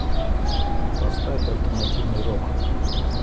поставь альтернативный рок